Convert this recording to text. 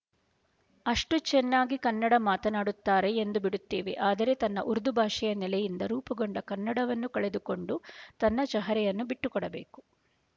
ಅಷ್ಟು ಚೆನ್ನಾಗಿ ಕನ್ನಡ ಮಾತನಾಡುತ್ತಾರೆ ಎಂದುಬಿಡುತ್ತೇವೆ ಅಂದರೆ ತನ್ನ ಉರ್ದುಭಾಷೆಯ ನೆಲೆಯಿಂದ ರೂಪುಗೊಂಡ ಕನ್ನಡವನ್ನು ಕಳೆದುಕೊಂಡು ತನ್ನ ಚಹರೆಯನ್ನು ಬಿಟ್ಟುಕೊಡಬೇಕು